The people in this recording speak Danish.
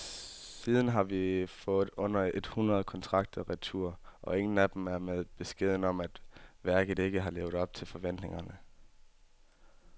Siden har vi fået under et hundrede kontrakter retur, og ingen af dem er med beskeden om, at værket ikke har levet op til forventningerne.